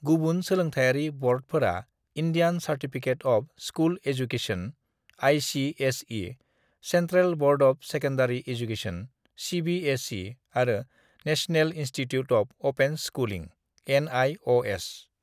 "गुबुन सोलोंथायारि बर्डफोरा Indian certificate of school education (ICSE.), central board of secondary education (CBSE.) आरो national institute of open schooling (NIOS.)."